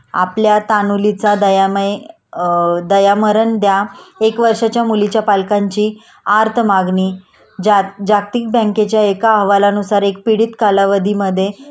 आपल्या तान्हुलीचा दयामय अ दयामरण द्या.एक वर्षाच्या मुलीच्या पालकांची आर्त मागणी.जाग जागतिक बँकेच्या एका हवालानुसार एक पीडित कालावधीमधे